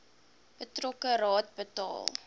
betrokke raad bepaal